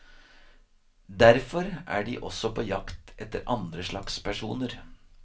Derfor er de også på jakt etter andre slags personer.